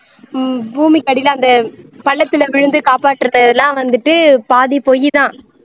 ஹம் பூமிக்கு அடியில அந்த பள்ளத்தில விழுந்து காப்பாற்ற வந்துட்டு பாதி பொய் தான்